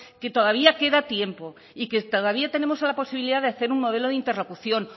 que todavía queda tiempo y que todavía tenemos la posibilidad de hacer un modelo de interlocución